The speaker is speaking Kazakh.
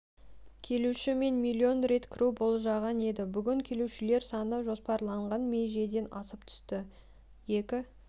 келуші мен миллион рет кіру болжанған еді бүгін келушілер саны жоспарланған межеден асып түсті екі